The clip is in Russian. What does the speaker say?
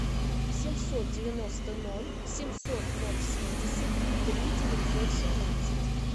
семьсот девяносто ноль семьсот ноль семьдесят три девятьсот семнадцать